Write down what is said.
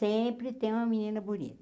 Sempre tem uma menina bonita.